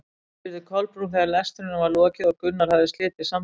spurði Kolbrún þegar lestrinum var lokið og Gunnar hafði slitið samtalinu.